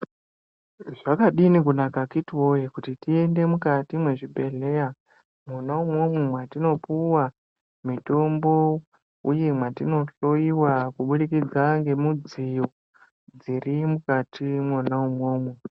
Zvakadini kunaka akiti woye kuti tiende mukati mwezvibhehleya mwona umwomwo mwatinopuwa mitombo uye mwatinohloyiwa kubudikidza ngemudziyo dziri mukati mwona umwomwo .